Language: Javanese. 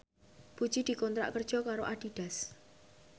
Puji dikontrak kerja karo Adidas